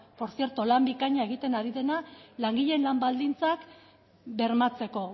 por cierto lan bikaina egiten ari dena langileen lan baldintzak bermatzeko